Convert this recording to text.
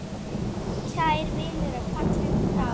Kær vinur er fallin frá.